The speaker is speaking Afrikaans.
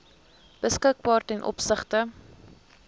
beskikbaar ten opsigte